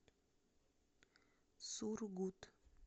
сургут